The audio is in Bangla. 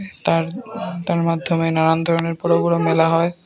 তার তার মাধ্যমে নানান ধরনের বড় বড় মেলা হয়।